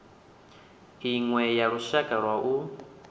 iṅwe ya lushaka lwa u